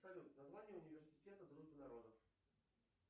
салют название университета дружбы народов